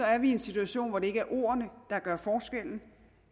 er vi i en situation hvor det ikke er ordene der gør forskellen